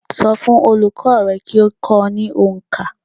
So fún olùkó rẹ kí o kó o ní onkà